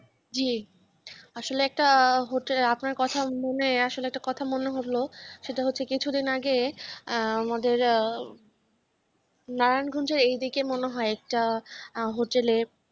জি আসলে একটা hotel আপনার কথা মানে হল সেটা হচ্ছে কিছুদিন আগে আহ আমাদের নারায়ণগঞ্জে এদিকে মনে হয় একটা hotel